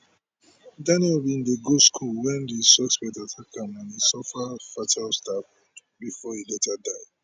daniel bin dey go school wen di suspect attack am and e suffer fatal stab bifor e later die